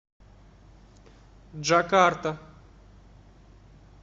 джакарта